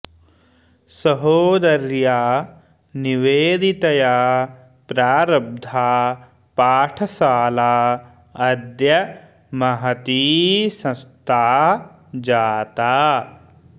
सहोदर्या निवेदितया प्रारब्धा पाठशाला अद्य महती संस्था जाता